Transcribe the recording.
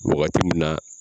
Wagati mun na